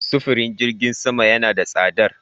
Sifirin jirgin sama yana da tsadar.